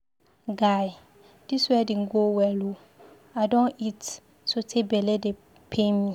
Guy, dis wedding go well ooo, I don eat so tey bele dey pain me.